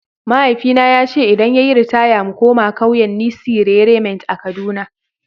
Mahaifina ya ce idan ya yi ritaya mu koma kauyen Nissi Rerement a kaduna.